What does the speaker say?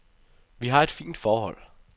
Vi har et fint forhold.